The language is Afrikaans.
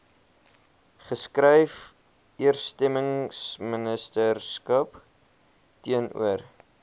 geskryf eersteministerskap teenoor